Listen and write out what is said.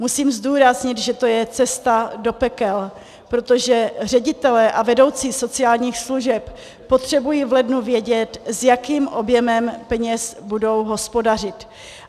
Musím zdůraznit, že to je cesta do pekel, protože ředitelé a vedoucí sociálních služeb potřebují v lednu vědět, s jakým objemem peněz budou hospodařit.